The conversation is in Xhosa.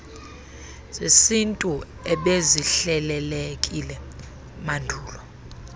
zesintu ebezihlelelekile mandulo